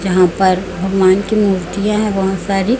यहां पर भगवान की मूर्तियां है बहोत सारी--